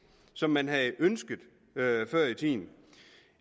som man havde ønsket